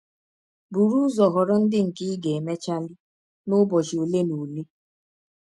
Bụrụ ụzọ họrọ ndị nke ị ga - emechali n’ụbọchị ọle na ọle.